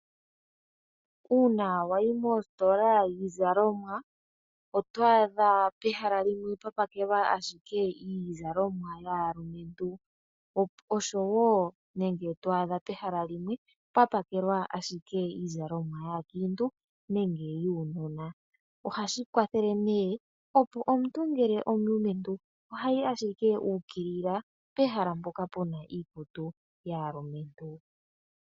Uuna wayi mositola yiizalomwa , otwaadha pehala limwe pwapakelwa ashike yaalumentu oshowoo limwe twaadha pwapakelwa iizalomwa yaankiintu nenge yuunona. Ohashi kwathele opo omuntu ngele omulumentu ohayi ashike uukilila pehala mpoka puna yaalumentu.